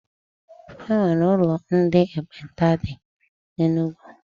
E nwere ụlọ ndị ekpenta dị na Enugu.